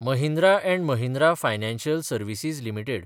Mahindra & Mahindra financial services limited